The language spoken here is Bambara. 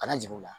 Kana jigi u la